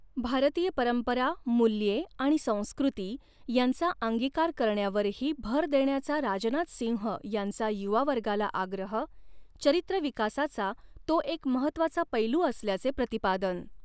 भारतीय परंपरा, मूल्ये आणि संस्कृती यांचा अंगिकार करण्यावरही भर देण्याचा राजनाथ सिंह यांचा युवा वर्गाला आग्रह, चरित्र विकासाचा तो एक महत्त्वाचा पैलू असल्याचे प्रतिपादन